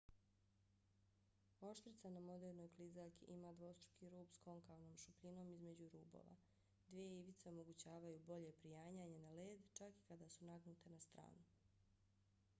oštrica na modernoj klizaljki ima dvostruki rub s konkavnom šupljinom između rubova. dvije ivice omogućavaju bolje prijanjanje na led čak i kada su nagnute na stranu